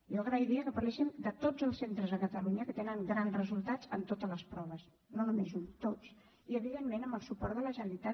jo agrairia que parléssim de tots els centres a catalunya que tenen grans resultats en totes les proves no només un tots i evidentment amb el suport de la generalitat